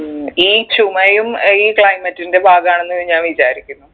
ഉം ഈ ചുമയും ഈ climate ന്റെ ഭാഗമാണ് എന്ന് ഞാൻ വിചാരിക്കുന്നു